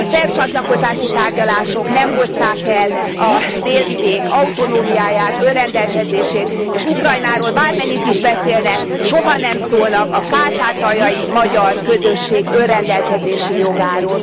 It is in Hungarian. A szerb csatlakozási tárgyalások nem hozták el a Délvidék autonómiáját, önrendelkezését és Ukrajnáról bármennyit is beszélnek, soha nem szólnak a kárpátaljai magyar közösség önrendelkezési jogáról.